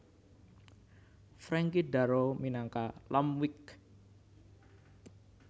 Frankie Darro minangka Lampwick